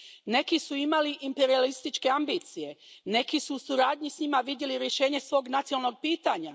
Neki su imali imperijalističke ambicije, neki su u suradnji s njima vidjeli rješenje svog nacionalnog pitanja.